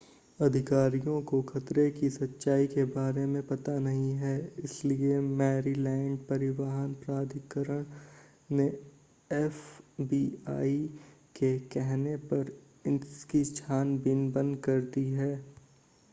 अधिकारियों को खतरे की सच्चाई के बारे में पता नहीं है इसलिए मैरीलैंड परिवहन प्राधिकरण ने एफबीआई के कहने पर इसकी छानबीन बंद कर दी है